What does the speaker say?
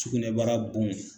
Sugunɛbara bon